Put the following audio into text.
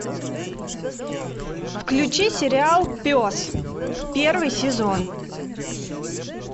включи сериал пес первый сезон